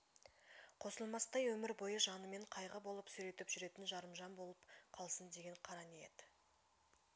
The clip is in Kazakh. қосылмастай өмір бойы жанымен қайғы болып сүйретіп жүретін жарымжан болып қалсын деген қара ниет